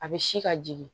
A bɛ si ka jigin